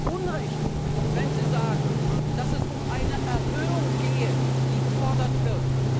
Und Sie haben Unrecht, wenn Sie sagen, dass es um eine Erhöhung gehe, die gefordert wird.